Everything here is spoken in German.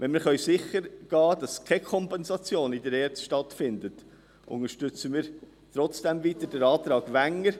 Wenn wir sichergehen könnten, dass keine Kompensation in der ERZ stattfinden würde, unterstützten wir trotzdem weiterhin den Antrag Wenger.